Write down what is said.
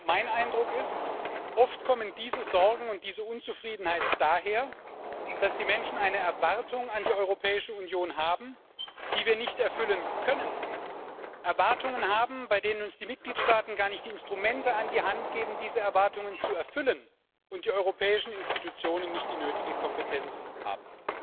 Mein Eindruck ist Oft kommen diese Sorgen und diese Unzufriedenheit daher, dass die Menschen eine Erwartung an die Europäische Union haben, die wir nicht erfüllen können, Erwartungen haben, bei denen uns die Mitgliedstaaten gar nicht die Instrumente an die Hand geben, diese Erwartungen zu erfüllen, und die europäischen Institutionen nicht die nötige Kompetenz haben.